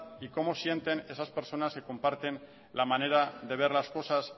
y como sienten esas personas que comparten la manera de ver las cosas